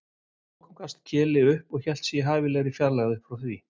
Að lokum gafst Keli upp og hélt sig í hæfilegri fjarlægð upp frá því.